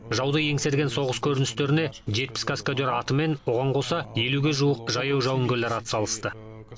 жауды еңсерген соғыс көріністеріне жетпіс каскадер атымен оған қоса елуге жуық жаяу жауынгерлер атсалысты